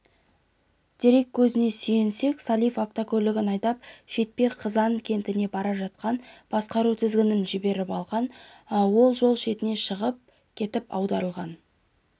дерек көзіне сүйенсек сәлиев автокөлігін айдап шетпеден қызан кентіне бара жатқан басқару тізгінін жіберіп алған ол жол жетіне шығып кетіп аударылған